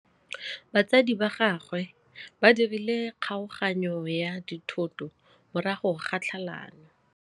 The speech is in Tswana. Batsadi ba gagwe ba dirile kgaoganyô ya dithoto morago ga tlhalanô.